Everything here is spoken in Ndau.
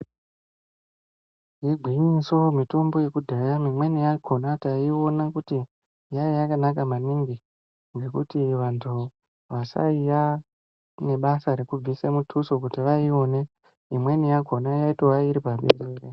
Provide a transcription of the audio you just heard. Igwinyiso mitombo yekudhaya mimweni yakona taiiona kuti yaiya yakanaka maningi ngokuti vantu vaisayiya nebasa rekubvise muthuso kuti vaione , imweni yaiva iri pamhene.